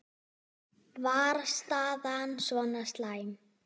Var staðan svona slæm?